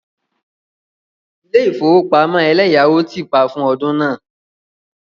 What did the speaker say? Ilé ìfowópamọ́ eleyawo ti pa fún ọdún náà.